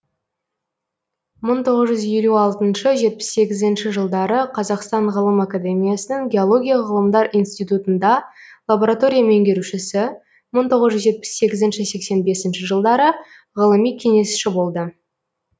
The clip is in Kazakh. мың тоғыз жүз елу алтыншы жетпіс сегізінші жылдары қазақстан ғылым академиясының геология ғылымдар институтында лаборатория меңгерушісі мың тоғыз жүз жетпіс сегізінші сексен бесінші жылдары ғылыми кеңесші болды